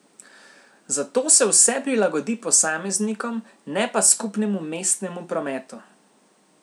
Zato se vse prilagodi posameznikom, ne pa skupnemu mestnemu prometu.